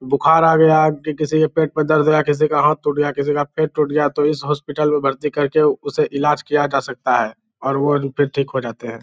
बुखार आ गया कि किसी के पेट में दर्द है किसी का हाथ टूट गया किसी का पैर टूट गया तो इस हॉस्पिटल में भर्ती करके उसे इलाज किया जा सकता है और वो फिर ठीक हो जाते है।